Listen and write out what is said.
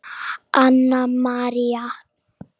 Anna María.